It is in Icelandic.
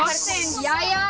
jæja